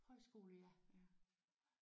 Højskole ja